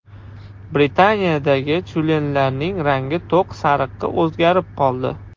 Britaniyadagi tyulenlarning rangi to‘q sariqqa o‘zgarib qoldi.